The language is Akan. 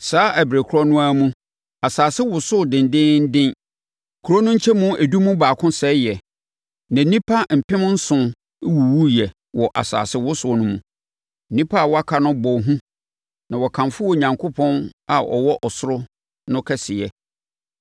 Saa ɛberɛ korɔ no ara mu, asase wosoo dendeenden. Kuro no nkyɛmu edu mu baako sɛeɛ, na nnipa mpemnson wuwuiɛ wɔ asasewosoɔ no mu. Nnipa a wɔaka no bɔɔ hu na wɔkamfoo Onyankopɔn a ɔwɔ ɔsoro no kɛseyɛ.